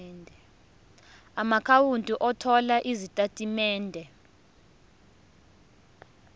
amaakhawunti othola izitatimende